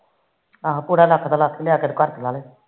ਆਹੋ ਪੁਰਾ ਲੱਖ ਦਾ ਲੱਖ ਲਿਆਕੇ ਘਰ ਤੇ ਲਾਲੋ